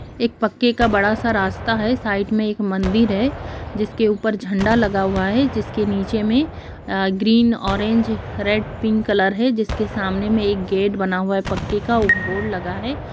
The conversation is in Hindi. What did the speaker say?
एक पक्के का बड़ा सा रास्ता है। साइड में एक मंदिर है जिसके ऊपर झंडा लगा हुआ है जिसके नीचे में अअअ green orange red pink colour है जिसके सामने में एक गेट बना हुआ है पक्के का एक बोर्ड लगा है।